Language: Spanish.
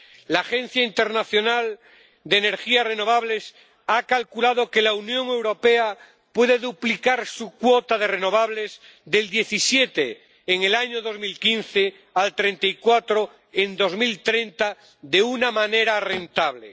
La Agencia Internacional de Energías Renovables ha calculado que la Unión Europea puede duplicar su cuota de renovables, del 17 en el año 2015, al 34 en 2030, de una manera rentable.